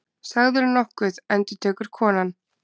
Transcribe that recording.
Sagðirðu nokkuð, endurtekur konan.